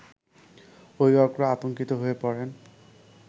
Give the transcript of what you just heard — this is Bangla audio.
অভিভাবকরা আতংকিত হয়ে পড়েন